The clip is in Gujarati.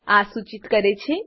આ સૂચિત કરે છે